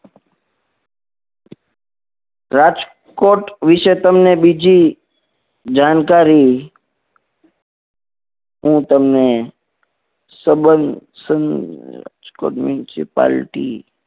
રાજકોટ વિશે તમને બીજી જાણકારી હું તમને સંબંધ રાજકોટ municipality